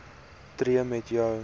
tree met jou